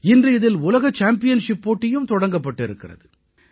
இன்று இதில் உலக சாம்பியன்ஷிப் போட்டியும் தொடங்கப்பட்டு இருக்கிறது